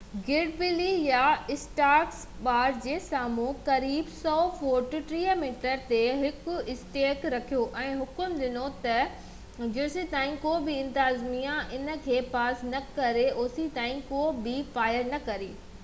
گرڊلي يا اسٽارڪ باڙ جي سامهون قريب 100 فوٽ 30 ميٽر تي هڪ اسٽيڪ رکيو ۽ حڪم ڏنو ته جيستائين ڪوبه انتظاميه ان کي پاس نه ڪري اوستائين ڪو به فائر نه ڪري